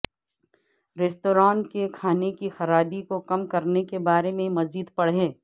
restaurant کے کھانے کی خرابی کو کم کرنے کے بارے میں مزید پڑھیں